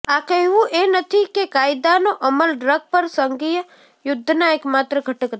આ કહેવું એ નથી કે કાયદાનો અમલ ડ્રગ પર સંઘીય યુદ્ધના એકમાત્ર ઘટક હતા